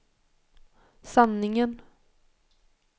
sanningen